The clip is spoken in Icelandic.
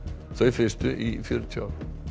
þau fyrstu í fjörutíu ár